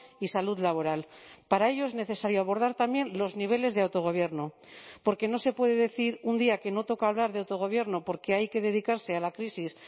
y salud laboral para ello es necesario abordar también los niveles de autogobierno porque no se puede decir un día que no toca hablar de autogobierno porque hay que dedicarse a la crisis